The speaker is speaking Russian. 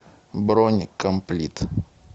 бронь комплит